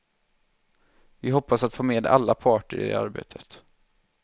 Vi hoppas att få med alla parter i det arbetet.